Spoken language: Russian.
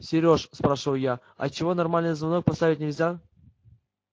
сереж спрашиваю я а чего нормальный звонок поставить нельзя